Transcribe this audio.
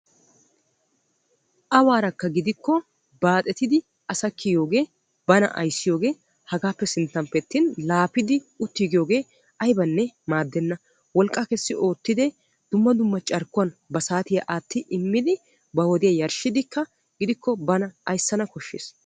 Awaara gidikkonne baaxettidi asa kiyiyoogee bana ayssiyoogee hagappe sinttappe attin laapidi uttiigiyogee aybanne maaddena. wolqqaa kesi oottidi dumma dumma carkkuwawu ba saatiyaa aati immidi ba wodiyaa yarshshidi gidikkoka bana ayssana koshshees.